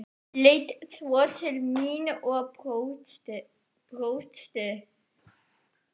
Leit svo til mín og brosti.